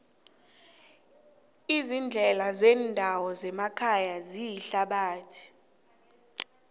iindlela zendawo zemakhaya ziyithabathi